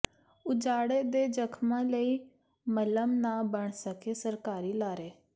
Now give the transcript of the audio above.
ਉਜਾੜੇ ਦੇ ਜ਼ਖ਼ਮਾਂ ਲਈ ਮੱਲ੍ਹਮ ਨਾ ਬਣ ਸਕੇ ਸਰਕਾਰੀ ਲਾਰੇ